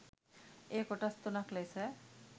එය කොටස් තුනක් ලෙස